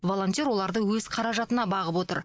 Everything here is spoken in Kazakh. волонтер оларды өз қаражатына бағып отыр